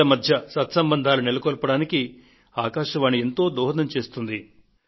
ప్రజల మధ్య సత్సంబంధాలు నెలకొల్పడానికి ఆకాశవాణి ఎంతో దోహదం చేస్తుంది